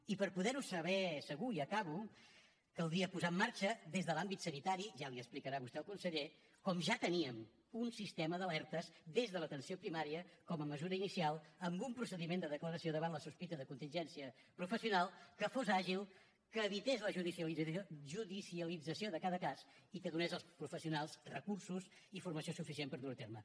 i per poder ho saber segur i ja acabo caldria posar en marxa des de l’àmbit sanitari ja li explicarà vostè al conseller com ja teníem un sistema d’alertes des de l’atenció primària com a mesura inicial amb un procediment de declaració davant la sospita de contingència professional que fos àgil que evités la judicialització de cada cas i que donés als professionals recursos i formació suficient per dur ho a terme